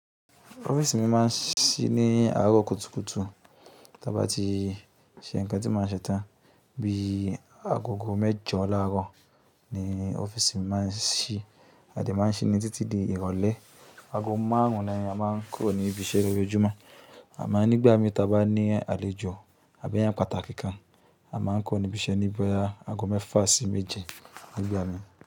Ọ́fíìsì mi máa n sí ní àárọ̀ kùtùkùtù tàba tí ṣe nǹkan tí màá ṣe tán bí i agogo mẹ́jọ láárọ̀ ni ọ́fíìsì mi máa n sí. A de má n sínmí títí di ìrọ̀lẹ́. Ago márùn ún ni a má n kurọ̀ níbi iṣẹ́ lójoojúmọ́ àmọ́ nígbà mí tàbí bá ní àlejò àbí eeyan pàtàkì kan, a má n kurọ̀ níbi iṣẹ́ ní boya ago mẹ́fa sí méje nigbà mí.